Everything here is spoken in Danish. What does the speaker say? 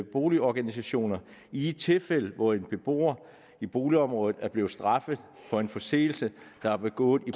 boligorganisationer i de tilfælde hvor en beboer i boligområdet er blevet straffet for en forseelse der er begået i